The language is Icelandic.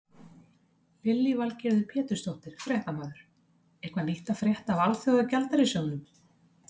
Lillý Valgerður Pétursdóttir, fréttamaður: Eitthvað nýtt að frétta af Alþjóðagjaldeyrissjóðnum?